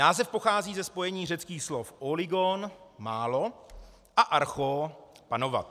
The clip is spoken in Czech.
Název pochází ze spojení řeckých slov óligon - málo - a archó - panovat.